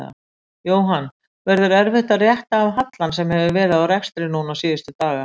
Jóhann: Verður erfitt að rétta af hallann sem hefur verið á rekstri núna síðustu daga?